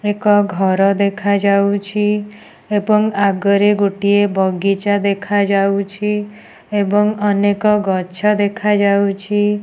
ଏକ ଘର ଦେଖାଯାଉଛି। ଏବଂ ଆଗରେ ଗୋଟିଏ ବଗିଚା ଦେଖାଯାଉଛି। ଏବଂ ଅନେକ ଗଛ ଦେଖାଯାଉଛି।